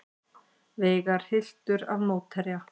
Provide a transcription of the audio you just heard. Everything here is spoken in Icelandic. Veigar hylltur af mótherja